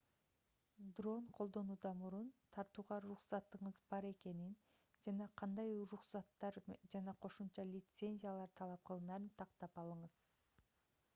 дрон колдонуудан мурун тартууга уруксатыңыз бар экенин жана кандай уруксаттар жана кошумча лицензиялар талап кылынарын тактап алыңыз